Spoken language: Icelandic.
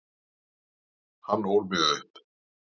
Hann ól mig upp.